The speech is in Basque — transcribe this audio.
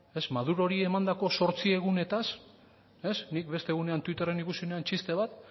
madurori emandako zortzi egunetaz nik beste egunean twitterren ikusi nuen txiste bat